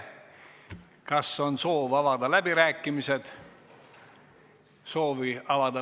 Kas on soov avada läbirääkimised?